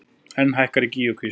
Enn hækkar í Gígjukvísl